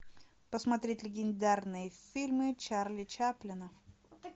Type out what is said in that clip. посмотреть легендарные фильмы чарли чаплина